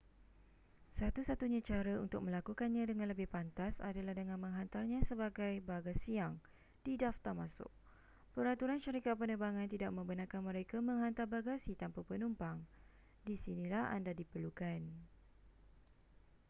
satu satunya cara untuk melakukannya dengan lebih pantas adalah dengan menghantarnya sebagai bagasiyang didaftar masuk peraturan syarikat penerbangan tidak membenarkan mereka menghantar bagasi tanpa penumpang di sinilah anda diperlukan